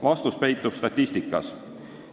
Vastus peitub statistikas.